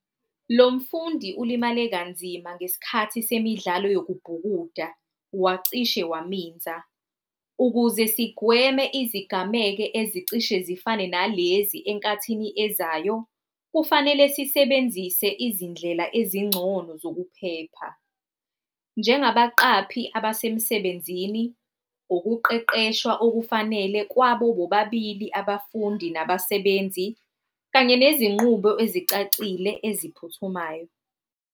Lo mfundi ulimale kanzima ngesikhathi semidlalo yokubhukuda, wacishe waminza. Ukuze sigweme izigameke ezicishe zifane nalezi ezinkathini ezayo, kufanele sisebenzise izindlela ezingcono zokuphepha. Njengabaqaphi abasemsebenzini ukuqeqeshwa okufanele kwabo bobabili abafundi nabasebenzi kanye nezinqubo ezicacile eziphuthumayo.